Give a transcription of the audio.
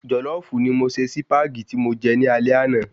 Jòlọ́fù ni mo ṣe Sípàgì tí mo je ní alé ana